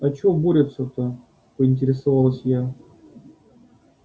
а чего борются-то поинтересовалась я